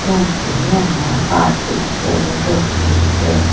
क्योंकि यहां पार्टी चल रही है।